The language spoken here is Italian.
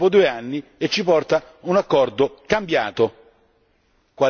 La Commissione arriva dopo due anni e ci porta un accordo cambiato.